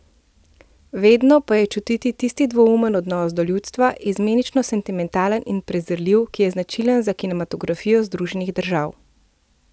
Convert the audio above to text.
Vedno pa je čutiti tisti dvoumen odnos do ljudstva, izmenično sentimentalen in prezirljiv, ki je značilen za kinematografijo Združenih držav.